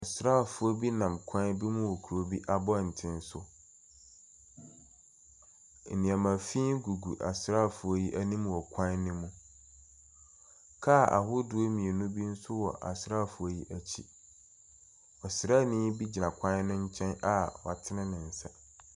Asraafoɔ bi nam kwan bi mu wɔ kuro bi abɔnten so. Nneɛma fi gugu asraafoɔ yi anim wɔ kwan no mu. Kaa ahodoɔ mmienu bi nso wɔ asraafoɔ yi akyi. Ɔsraani bi gyina kwan no nkyɛn a watene ne nsa.